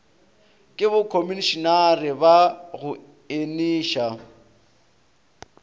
ke bokhomišenare ba go eniša